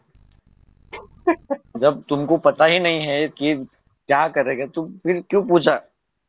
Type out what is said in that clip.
जब तुमको पता ही नही क्या करेगा फिर क्यू पूचा